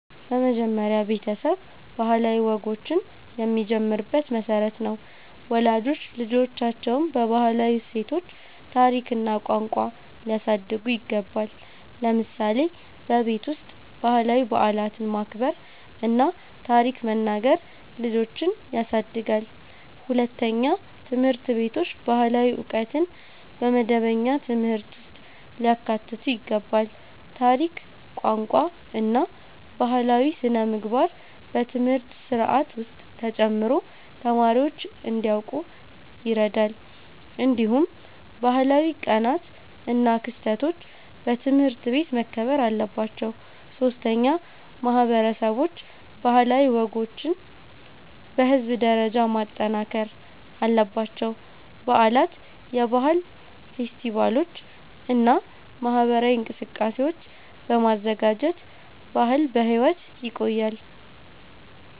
መጀመሪያ ቤተሰብ ባህላዊ ወጎችን የሚጀምርበት መሠረት ነው። ወላጆች ልጆቻቸውን በባህላዊ እሴቶች፣ ታሪክ እና ቋንቋ ሊያሳድጉ ይገባል። ለምሳሌ በቤት ውስጥ ባህላዊ በዓላትን ማክበር እና ታሪክ መናገር ልጆችን ያሳድጋል። ሁለተኛ፣ ትምህርት ቤቶች ባህላዊ ዕውቀትን በመደበኛ ትምህርት ውስጥ ሊያካትቱ ይገባል። ታሪክ፣ ቋንቋ እና ባህላዊ ሥነ-ምግባር በትምህርት ስርዓት ውስጥ ተጨምሮ ተማሪዎች እንዲያውቁ ይረዳል። እንዲሁም ባህላዊ ቀናት እና ክስተቶች በትምህርት ቤት መከበር አለባቸው። ሶስተኛ፣ ማህበረሰቦች ባህላዊ ወጎችን በህዝብ ደረጃ ማጠናከር አለባቸው። በዓላት፣ የባህል ፌስቲቫሎች እና ማህበራዊ እንቅስቃሴዎች በማዘጋጀት ባህል በሕይወት ይቆያል።